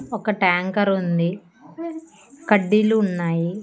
ఒక ట్యాంకర్ ఉంది కడ్డీలు ఉన్నాయి.